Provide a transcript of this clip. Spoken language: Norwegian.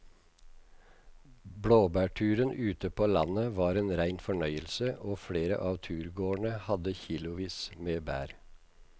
Blåbærturen ute på landet var en rein fornøyelse og flere av turgåerene hadde kilosvis med bær.